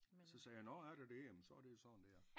Så sagde jeg nåh er der det jamen så er det jo sådan det er